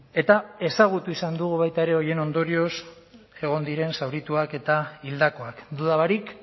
eta ezagutu izan dugu baita ere horien ondorioz egon diren zaurituak eta hildakoak duda barik